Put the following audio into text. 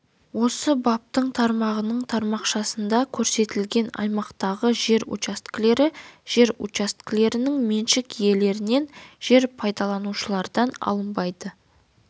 осы баптың тармағының тармақшасында көрсетілген аймақтағы жер учаскелері жер учаскелерінің меншік иелерінен жер пайдаланушылардан алынбайды